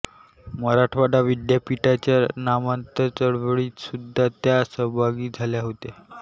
मराठवाडा विद्यापीठाच्या नामांतर चळवळीत सुद्धा त्या सहभागी झाल्या होत्या